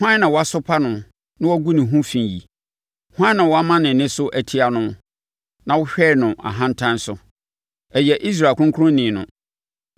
Hwan na wasopa no na woagu ne ho fi yi? Hwan na woama wo nne so atia no na wohwɛɛ no ahantan so? Ɛyɛ Israel ɔkronkronni no!